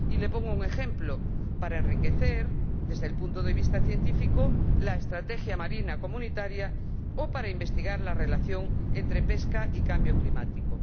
Y le pongo un ejemplo para enriquecer, desde el punto de vista científico, la estrategia marítima comunitaria o para investigar la relación entre pesca y cambio climático.